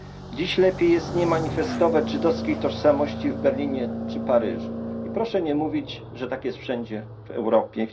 Dziś lepiej jest nie manifestować żydowskiej tożsamości w Berlinie czy Paryżu i proszę nie mówić, że tak jest wszędzie w Europie.